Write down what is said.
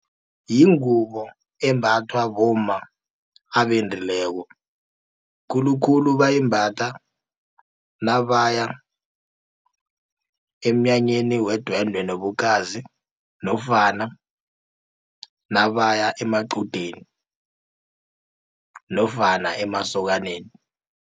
Yingubo embathwa bomma abendileko, khulukhulu bayimbatha nabaya emnyanyeni wedwendwe nobukhazi, nofana nabaya amaqudeni nofana emasokaneni.